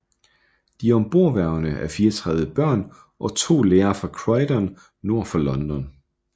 De ombordværende er 34 børn og 2 lærere fra Croydon nord for London